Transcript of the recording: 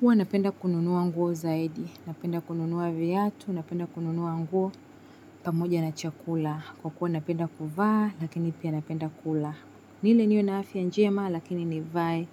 Huwa napenda kununua nguo zaidi, napenda kununua viatu, napenda kununua nguo pamoja na chakula. Kwa kuwa napenda kuvaa, lakini pia napenda kula. Nile niwe na afya njema, lakini nivae,